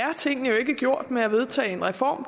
tingene jo ikke er gjort med at vedtage en reform